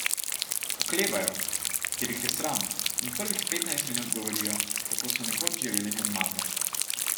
Oklevajo, ker jih je sram, in prvih petnajst minut govorijo, kako so nekoč živeli normalno.